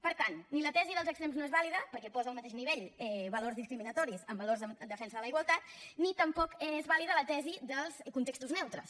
per tant ni la tesi dels extrems no és vàlida perquè posa al mateix nivell valors discriminatoris amb valors en defensa de la igualtat ni tampoc és vàlida la tesi dels contextos neutres